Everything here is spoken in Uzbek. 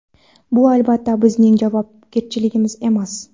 Bu, albatta, bizning javobgarligimiz emas.